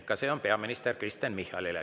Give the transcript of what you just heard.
Ka see on peaminister Kristen Michalile.